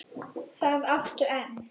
Það áttu enn.